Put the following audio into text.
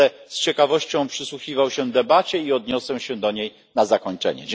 Będę z ciekawością przysłuchiwał się debacie i odniosę się do niej na zakończenie.